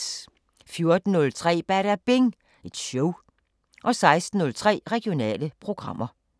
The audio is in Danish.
14:03: Badabing Show 16:03: Regionale programmer